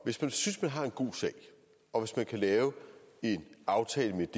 hvis man synes man har en god sag og hvis man kan lave en aftale om den